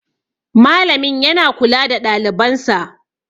Malamin yana kula da ɗalibansa